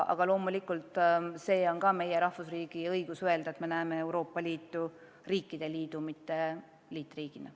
Aga loomulikult on meie kui rahvusriigi õigus öelda, et me näeme Euroopa Liitu riikide liidu, mitte liitriigina.